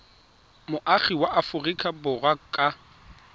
moagi wa aforika borwa ka